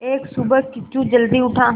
एक सुबह किच्चू जल्दी उठा